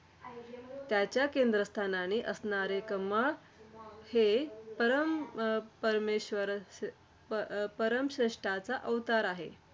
त्याच्या केंद्रस्थानी असणारे कमळ हे परम अं परमेश्वराचं परमश्रेष्ठाचा अवतार आहे.